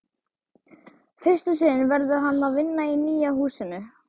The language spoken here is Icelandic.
Fyrst um sinn verður hann að vinna í nýja húsinu.